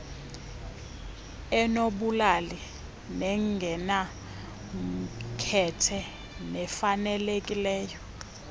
enobulali nengenamkhethe nefanelekileyo